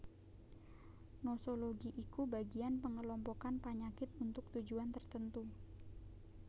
Nosologi iku bagian pengelompokan panyakit untuk tujuan tertentu